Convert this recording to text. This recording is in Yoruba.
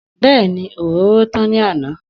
Bẹ́ẹ̀ni, òróró tán ní àná.